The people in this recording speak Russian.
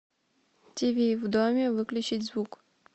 тиви в доме выключить звук